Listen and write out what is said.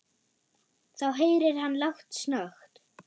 Þá heyrir hann lágt snökt.